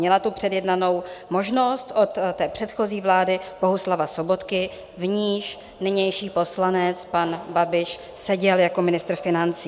Měla tu předjednanou možnost od té předchozí vlády Bohuslava Sobotky, v níž nynější poslanec pan Babiš seděl jako ministr financí.